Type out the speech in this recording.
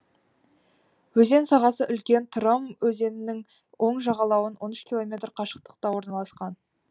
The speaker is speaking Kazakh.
өзен сағасы үлкен тырым өзенінің оң жағалауынан он үш километр қашықтықта орналасқан